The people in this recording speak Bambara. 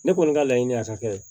Ne kɔni ka laɲini ye a ka kɛ